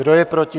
Kdo je proti?